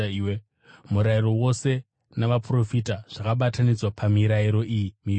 Murayiro wose naVaprofita zvakabatanidzwa pamirayiro iyi miviri.”